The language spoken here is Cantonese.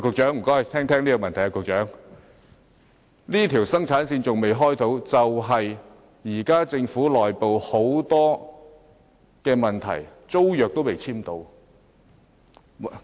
上述3條生產線仍未能啟動的原因，是政府內部有很多問題，令租約仍未能簽訂。